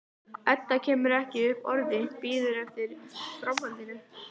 Edda kemur ekki upp orði, bíður eftir framhaldinu.